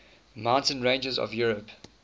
mountain ranges of europe